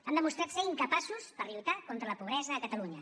han demostrat ser incapaços per lluitar contra la pobresa a catalunya